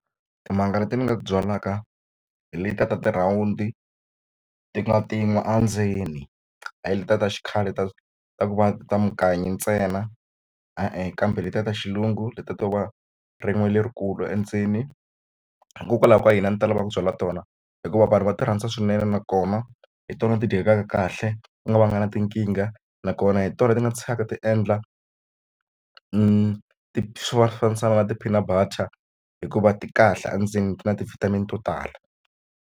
Timanga leti ni nga ti byalaka hi letiya ta ti rhawundi ti nga ti n'we endzeni hayi letiya ta xikhale ta ta ku va ta munganyo ntsena e-e kambe letiya ta xilungu letiya to va rin'we lerikulu endzeni hikokwalaho ka yini a ndzi ta lava ku byala tona hikuva vanhu va ti rhandza swinene nakona hi tona ti dyekaka kahle ku nga va nga na tinkingha nakona hi tona ti nga tshikaka ti endla ti hluvahluvanikisaka na ti-peanut butter hikuva ti kahle endzeni ku na ti-vitamin to tala.